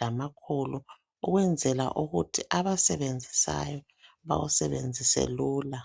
lamakhulu ukwenzela ukuthi abawusenzisayo bawusebenzise lula.